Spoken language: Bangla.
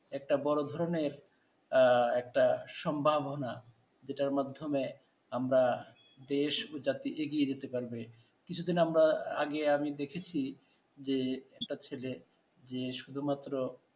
একটা বড় ধরনের আহ একটা সম্ভাবনা যেটার মাধ্যমে আমরা দেশ ও জাতি এগিয়ে যেতে পারবে। কিছুদিন আমরা আগে আমি দেখেছি যে একটা ছেলে যে শুধুমাত্র